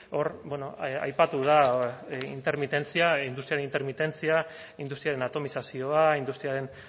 hor aipatu da intermitentzia industriaren intermitentzia industriaren atomizazioa industriaren